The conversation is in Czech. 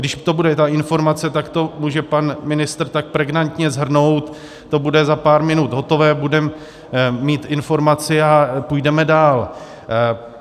Když to bude ta informace, tak to může pan ministr tak pregnantně shrnout, to bude za pár minut hotové, budeme mít informaci a půjdeme dál.